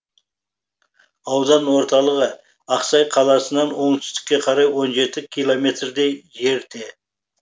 аудан орталығы ақсай қаласынан оңтүстікке қарай он жеті километрдей жерде